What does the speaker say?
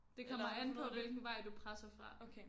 Det kommer an på hvilken vej du presser fra